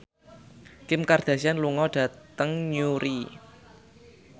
Kim Kardashian lunga dhateng Newry